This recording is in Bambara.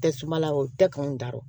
Tɛ suma la o tɛ k'anw da rɔ